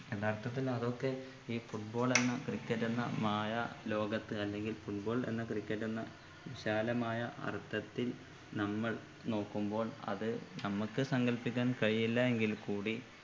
യഥാർത്ഥത്തിൽ അതൊക്കെ ഈ football എന്ന cricket എന്ന മായാ ലോകത്ത് അല്ലെങ്കിൽ football എന്ന cricket എന്ന വിശാലമായ അർത്ഥത്തിൽ നമ്മൾ നോക്കുമ്പോൾ അത് നമ്മൾക്ക് സങ്കല്പിക്കാൻ കഴിയില്ല എങ്കിൽ കൂടി